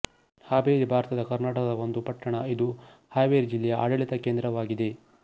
ಹವೇರಿ ಭಾರತದ ಕರ್ನಾಟಕದ ಒಂದು ಪಟ್ಟಣ ಇದು ಹವೇರಿ ಜಿಲ್ಲೆಯ ಆಡಳಿತ ಕೇಂದ್ರವಾಗಿದೆ